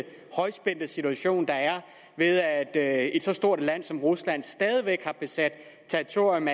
højspændte situation der er ved at et så stort land som rusland stadig væk har besat territorium